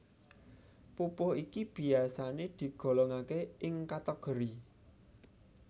Pupuh iki biyasané digolongaké ing kategori